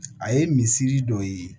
A ye misri dɔ ye